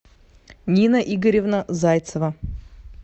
нина игоревна зайцева